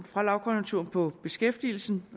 fra lavkonjunkturen på beskæftigelsen